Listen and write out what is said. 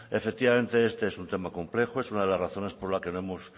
efectivamente este es un tema complejo es una de las razones por las que no hemos